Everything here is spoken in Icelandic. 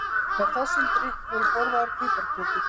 Með þessum drykk voru borðaðar piparkökur.